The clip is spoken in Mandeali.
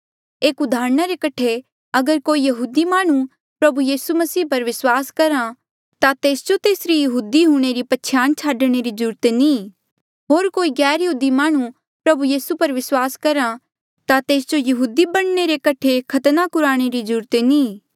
एक उदाहरणा रे कठे अगर कोई यहूदी माह्णुं प्रभु यीसू पर विस्वास करहा ता तेस जो तेसरी यहूदी हूंणे री पछयाण छाडणे री जरूरत नी होर कोई गैरयहूदी माह्णुं प्रभु यीसू पर विस्वास करहा ता तेस जो यहूदी बणने रे कठे खतना कुराणे री जरूरत नी